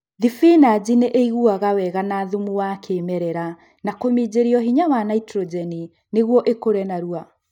Thibinachi nĩ ĩiguaga wega na thumu wa kĩmerela na kũminjĩrio hinya wa naitrogeni nĩguo ĩkure narua